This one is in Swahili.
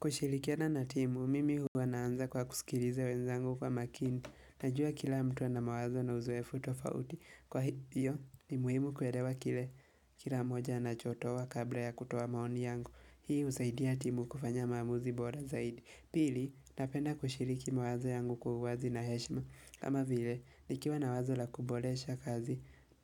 Kushirikiana na timu, mimi huwa naanza kwa kusikiliza wenzangu kwa makini. Najua kila mtu ana mawazo na uzoefu tofauti. Kwa hiyo, ni muhimu kuelewa kile kila mmoja anachotoa kabla ya kutoa maoni yangu. Hii husaidia timu kufanya maamuzi bora zaidi. Pili, napenda kushiriki mawazo yangu kwa uwazi na heshima. Kama vile, nikiwa na wazo la kuboresha kazi